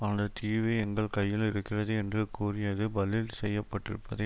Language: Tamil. அந்த தீவு எங்கள் கையில் இருக்கிறது என்று கூறியது பதில் செய்யப்பட்டிருப்பதை